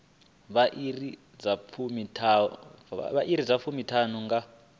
vha iri dza fumiṱhanu nga